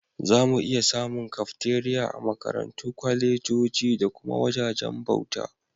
Zamu iya samun Kafteriya a Makarantu, kwalejoji da kuma wajajen bauta.